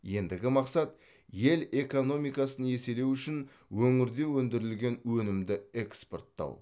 ендігі мақсат ел экономикасын еселеу үшін өңірде өндірілген өнімді экспорттау